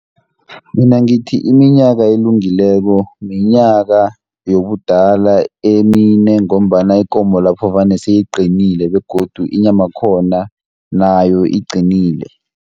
Mina ngithi iminyaka elungileko minyaka yobudala emine, ngombana ikomo lapho vane seyiqinile, begodu inyama yakhona nayo iqinile.